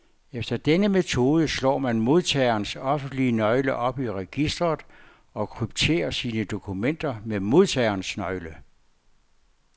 Efter denne metode slår man modtagerens offentlige nøgle op i registret, og krypterer sine dokumenter med modtagerens nøgle.